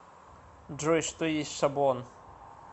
джой что есть шаблон